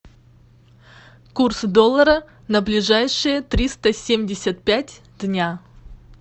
курс доллара на ближайшие триста семьдесят пять дня